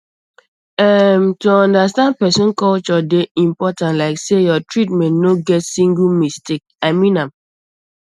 erm to understand person culture dey important like say your treatment no get single mistake i mean am